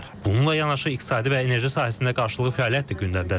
Bununla yanaşı iqtisadi və enerji sahəsində qarşılıqlı fəaliyyət də gündəmdədir.